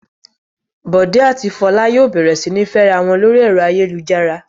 Bọ̀dé àti Fọlá yóò bẹ̀rẹ̀ sí ní fẹ́ra wọn lórí ẹ̀rọ ayélujára.